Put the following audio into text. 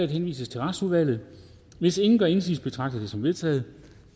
henvises til retsudvalget hvis ingen gør indsigelse betragter jeg det som vedtaget